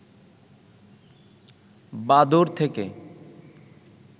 বাদুড় থেকে